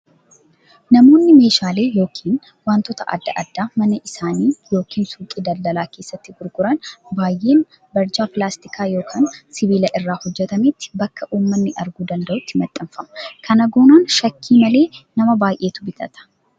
Namoonni meeshaalee yookiin wantoota adda addaa mana isaanii yookiin suuqii daldalaa keessatti gurguran baay'een barjaa pilaastikaa yookiin sibiilaa irraa hojjatametti bakka uummanni arguu danda'utti maxxanfama. Kana goonaan shakkii malee nama baay'eetu bitata.